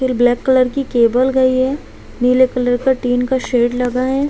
फिर black colour की cable गई है नीले कलर का टिन का शेड लगा हैं।